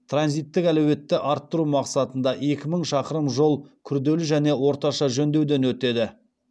транзиттік әлеуеті арттыру мақсатында екі мың шақырым жол күрделі және орташа жөндеуден өтеді